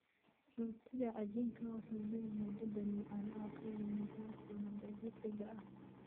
Rootiga cajiinka wuxuu leeyahay dhadhan macaan oo ka yimaada halsano dabiiciga ah.